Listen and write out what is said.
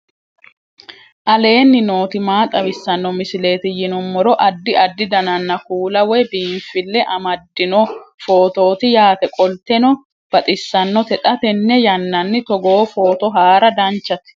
aleenni nooti maa xawisanno misileeti yinummoro addi addi dananna kuula woy biinfille amaddino footooti yaate qoltenno baxissannote xa tenne yannanni togoo footo haara danchate